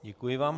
Děkuji vám.